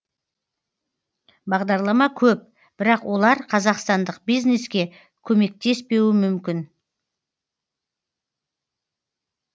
бағдарлама көп бірақ олар қазақстандық бизнеске көмектеспеуі мүмкін